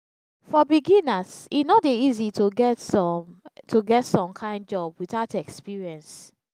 for beginners e no de easy to get some to get some kind job without experience